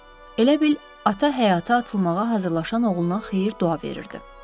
Elə bil ata həyata atılmağa hazırlaşan oğluna xeyir-dua verirdi.